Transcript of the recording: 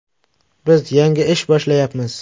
Biz yangi ish boshlayapmiz.